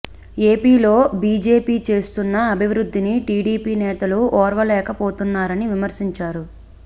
ఏపీలో బీజేపీ చేస్తున్న అభివృద్ధిని టీడీపీ నేతలు ఓర్వలేక పోతున్నారని విమర్శించారు